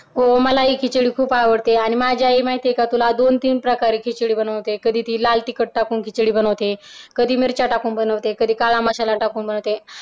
हो मलाही खिचडी खूप आवडते आणि माझी आई माहिती आहे का तुला दोन तीन प्रकारे खिचडी बनवते कधी ती लाल तिखट टाकून खिचडी बनवते कधी मिरच्या टाकून बनवते कधी काळा मसाला टाकून बनवते.